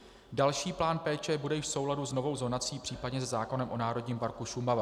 Další plán péče bude již v souladu s novou zonací, případně se zákonem o Národním parku Šumava.